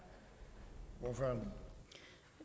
man